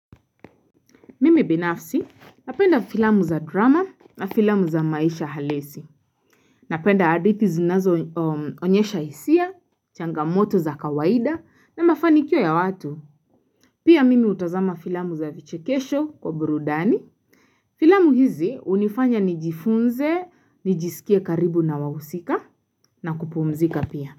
Mimi binafsi napenda filamu za drama na filamu za maisha halisi. Napenda hadithi zunazo onyesha hisia, changamoto za kawaida na mafanikio ya watu. Pia mimi hutazama filamu za vichikesho kwa burudani. Filamu hizi hunifanya nijifunze, nijisikie karibu na wahusika na kupumzika pia.